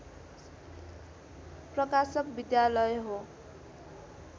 प्रकाशक विद्यालय हो